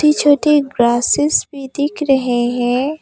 छोटे छोटे ग्रासेस भी दिख रहे हैं।